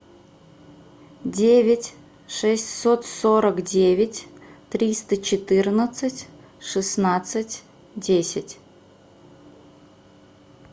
девять шестьсот сорок девять триста четырнадцать шестнадцать десять